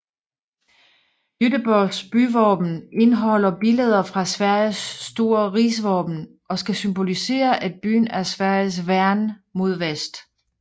Göteborgs byvåben indeholder billeder fra Sveriges store rigsvåben og skal symbolisere at byen er Sveriges værn mod vest